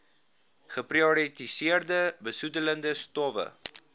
geprioritoriseerde besoedelende stowwe